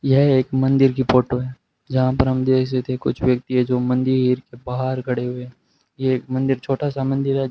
यह एक मंदिर की फोटो है जहां पर हम देख सकते कुछ व्यक्ति है जो मंदिर के बाहर खड़े हुए हैं ये एक मंदिर छोटा सा मंदिर है।